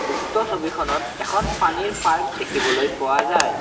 উক্ত ছবিখনত এখন পানীৰ পাৰ্ক দেখিবলৈ পোৱা যায়।